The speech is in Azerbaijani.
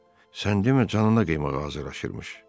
Sən demə canına qıymağa hazırlaşırmış.